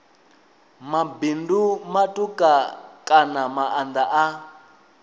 mabindu matuku kana maanda a